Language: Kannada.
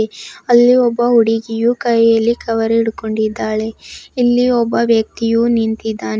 ಅಲ್ಲಿ ಒಬ್ಬ ಹುಡುಗಿಯು ಕೈಯಲ್ಲಿ ಕವರ್ ಹಿಡ್ಕೊಂಡಿದ್ದಾಳೆ ಇಲ್ಲಿ ಒಬ್ಬ ವ್ಯಕ್ತಿಯು ನಿಂತಿದ್ದಾನೆ.